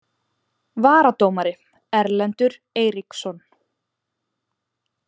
Varadómari: Erlendur Eiríksson